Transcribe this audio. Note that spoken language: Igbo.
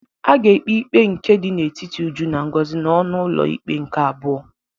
A ga-ekpe ikpe dị n'etiti Uju na Ngozi n'ọnụ ụlọ ikpe nke abụọ.